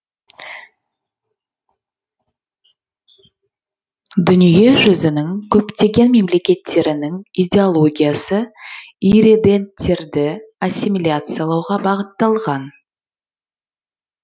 дүние жүзінің көптеген мемлекеттерінің идеологиясы ирреденттерді ассимиляциялауға бағытталған